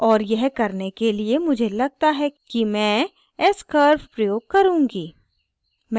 और यह करने के लिए मुझे लगता है कि मैं s curve प्रयोग करुँगी